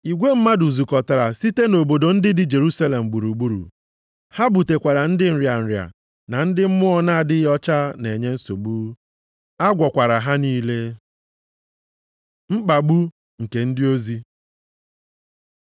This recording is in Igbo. Igwe mmadụ zukọtara site nʼobodo ndị dị Jerusalem gburugburu. Ha butekwara ndị nrịa nrịa, na ndị mmụọ na-adịghị ọcha na-enye nsogbu, a gwọkwara ha niile. Mkpagbu nke ndị ozi